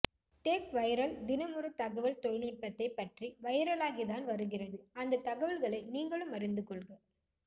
Tech Viral தினம் ஒரு தகவல் தொழிநுட்பத்தைப் பற்றி வைரலாகி தான் வருகிறது அந்த தகவல்களை நீங்களும் அறிந்துகொள்க